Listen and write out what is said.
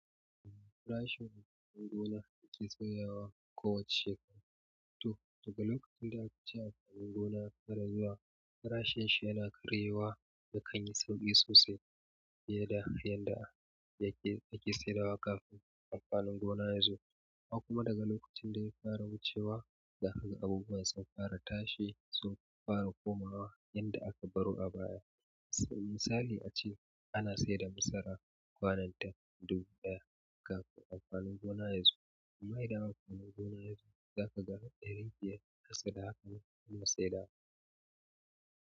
Farashin amfanin gona ake sauyawakowace shekara. To, daga lokacin da akace amfanin gona ya fara zuwa, farashin shi yana karyewa da ƙanyi sosai fiye da yadda da ake saidawa kafin amfanin gona yazo. Ko kuma daga lokacin da ya fara wucewa zaka ga abubuwan sun fara tashi, sun fara komawa yanda aka baro a baya. Misali ace ana saida masara kwanan ta dubu ɗaya kafin amfanin gona yazo, amma idan amfanin gona yazo, za ka ga ɗari biyar ko ƙasa da haka ana saidawa.